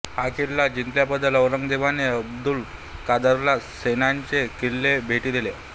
हा किल्ला जिंकल्याबद्दल औरंगजेबाने अब्दुल कादरला सोन्याची किल्ली भेट दिली